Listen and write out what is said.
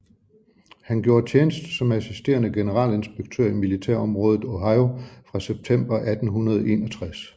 Han gjorde tjeneste som assisterende generalinspektør i militærområdet Ohio fra september 1861